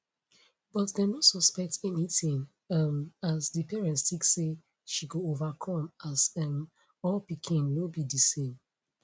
but dem no suspect anytin um as di parents tink say she go overcome as um all pikin no be di same